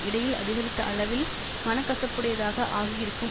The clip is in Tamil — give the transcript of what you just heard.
இடையில் அதிகரித்த அளவில் மனக்கசப்புடையதாக ஆகி இருக்கும்